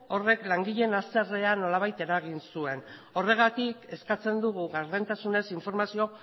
horrek langileen haserrea nolabait eragin zuen horregatik eskatzen dugu gardentasunez informazio